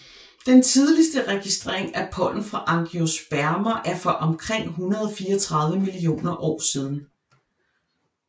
Den tidligste registrering af pollen fra angiospermer er for omkring 134 millioner år siden